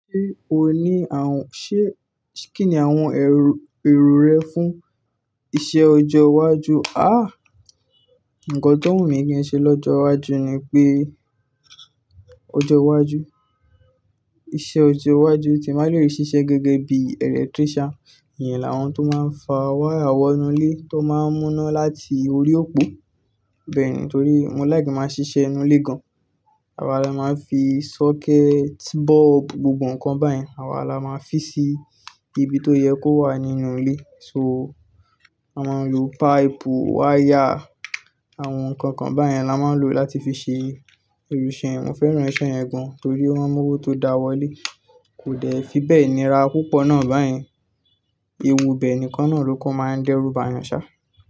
Ṣé o ní àwon ṣé, kíni àwon èrò rẹ fún isẹ ọjọ iwájú? Àh! Ǹkan tó wù mí kí n ṣe lọ́jọ́ iwájú ni pé ọjọ́ iwájú, iṣẹ ọjọ́ iwájú tí bàá le ṣiṣẹ gẹgẹ bí electrician. Iyẹn làwọn tó máa ń fa wáyà wọnú ilé tó máa ń múná láti orí òpó. Bẹ́ẹ̀ni, torí mo like kin máa ṣiṣẹ ínú ilé gan. Àwa la máa ń fi sọ́kẹ́ẹ̀tì, bọ́ọ̀bù, gbogbo nǹkan báyẹn àwa la máa ń fi sí ibi tó yẹ kó wà nínú ilé. So, a máa ń lo páìpù, wáyà, àwọn nǹkan kan báyẹn la máa ń lò láti fi ṣe irú iṣẹ́ yẹn. Mo fẹ́ràn iṣẹ́ yẹn gan torí ó man mọwọ́ tó dá wọ́lé. Kò dẹ̀ fí bẹ́ẹ̀ nira púpọ̀ náà báyẹn. Ewu ibẹ́ẹ̀ nìkan náà ló kan máa ń dẹ́rù bàyàn ṣá.